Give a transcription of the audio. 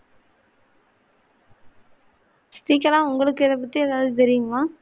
ஸ்ரீகலாஉங்களுக்கு இத பத்தி எதாவது தெரியுமா?